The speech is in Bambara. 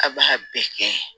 A b'a bɛɛ kɛ